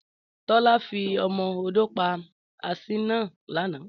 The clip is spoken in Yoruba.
Tọ́lá fi ọmọ odó pa asín náà lánàá